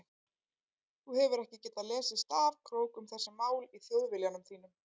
Þú hefur ekki getað lesið stafkrók um þessi mál í Þjóðviljanum þínum.